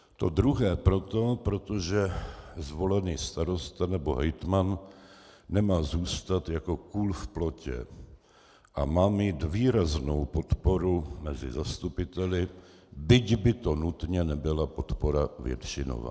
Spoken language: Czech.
To druhé proto, protože zvolený starosta nebo hejtman nemá zůstat jako kůl v plotě a má mít výraznou podporu mezi zastupiteli, byť by to nutně nebyla podpora většinová.